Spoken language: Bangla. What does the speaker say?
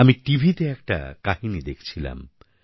আমি টিভিতে একটা কাহিনি দেখছিলাম